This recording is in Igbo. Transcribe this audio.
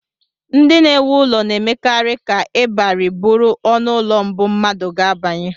Ndị na-ewu ụlọ na-emekarị ka ịbarị bụrụ ọnụụlọ mbụ mmadụ ga-abanye